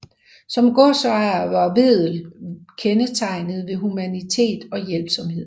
Som godsejer var Wedell kendetegnet ved humanitet og hjælpsomhed